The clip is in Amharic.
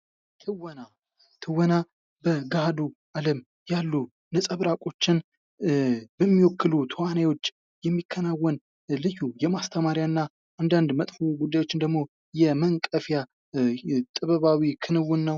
ትወና በገሃዱ አለም ያሉ ነፀብራቆችን በሚወክሉ ተዋናዮች የሚከናወን ልዩ የማስተማሪያና አንዳንድ መጥፎ ጉዳዮች ደግሞ መንቀፊያ ጥበባዊ ክንውን ነው።